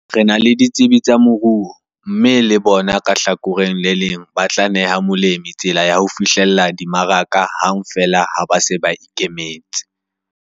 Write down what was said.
"Re na le ditsebi tsa moruo mme le bona ka hlakoreng le leng ba tla neha molemi tsela ya ho fihlella dimaraka hang feela ha ba se ba ikemetse."